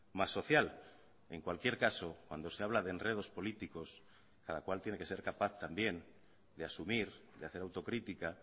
más social en cualquier caso cuando se habla de enredos políticos cada cual tiene que ser capaz también de asumir de hacer autocrítica